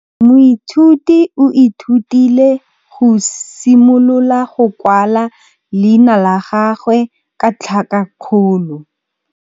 Moithuti o ithutile go simolola go kwala leina la gagwe ka tlhakakgolo.